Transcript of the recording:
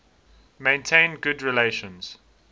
maintained good relations